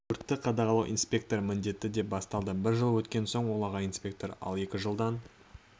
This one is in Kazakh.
өртті қадағалау инспекторы міндеті де бастады бір жыл өткен соң ол аға инспектор ал екі жылдан